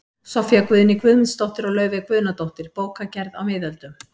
Soffía Guðný Guðmundsdóttir og Laufey Guðnadóttir, Bókagerð á miðöldum